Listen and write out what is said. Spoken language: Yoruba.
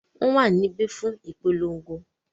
wọ́n wà níbí fún ìpolongo.